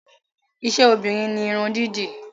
Iṣẹ́ obìnrin ni Irun dídì